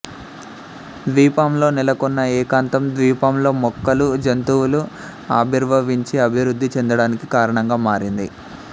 ద్వీపంలో నెలకొన్న ఏకాంతం ద్వీపంలో మొక్కలు జంతువులు ఆవిర్భవించి అభివృద్ధి చెందడానికి కారణంగా మారింది